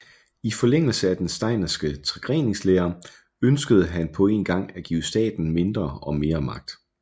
I forlængelse af den steinerske tregreningslære ønskede han på én gang at give staten mindre og mere magt